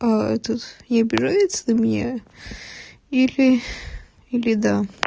а этот не обижается на меня или или да